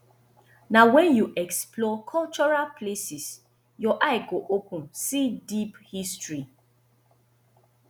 na wen you explore cultural places your eye go open see deep history